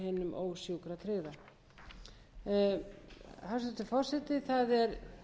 hinum ósjúkratryggða hæstvirtur forseti það er